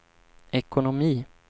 ekonomi